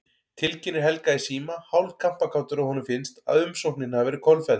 Tilkynnir Helga í síma, hálf kampakátur að honum finnst, að umsóknin hafi verið kolfelld.